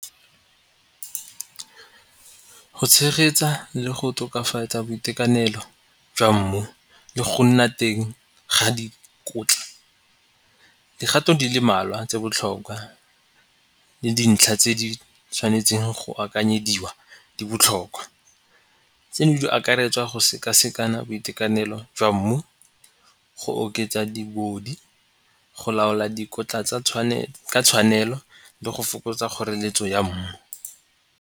Go tshegetsa le go tokafatsa boitekanelo jwa mmu le go nna teng ga dikotla. Dikgato di le mmalwa tse botlhokwa le dintlha tse di tshwanetseng go akanyetsa di dibotlhokwa. Tseno di akaretswa go sekasekana boitekanelo jwa mmu, go oketsa di go laola dikotla tsa tshwanelo le go fokotsa kgoreletso ya mmu.